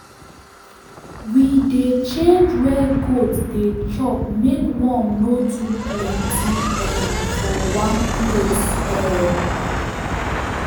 we dey change where goat dey chop make worm no too plenty um for one place. um